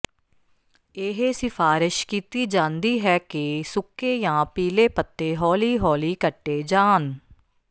ਇਹ ਸਿਫਾਰਸ਼ ਕੀਤੀ ਜਾਂਦੀ ਹੈ ਕਿ ਸੁੱਕੇ ਜਾਂ ਪੀਲੇ ਪੱਤੇ ਹੌਲੀ ਹੌਲੀ ਕੱਟੇ ਜਾਣ